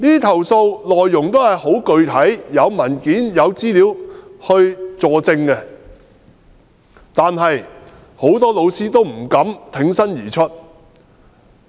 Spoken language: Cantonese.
投訴內容很具體，有文件和資料佐證，但很多老師不敢挺身而出。